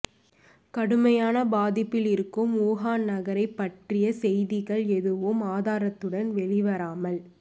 கடுமையான பாதிப்பில் இருக்கும் வுஹான் நகரைப் பற்றிய செய்திகள் எதுவும் ஆதாரத்துடன் வெளிவராமல்